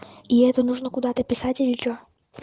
и это нужно куда-то писать или что